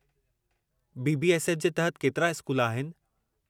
BBFS. जे तहत केतिरा स्कूल आहिनि?